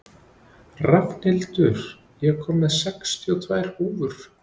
Rafnhildur, ég kom með sextíu og tvær húfur!